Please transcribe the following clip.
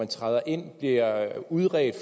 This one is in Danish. træder ind bliver udredt